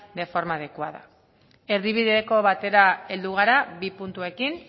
de forma adecuada erdibideko batera heldu gara bi puntuekin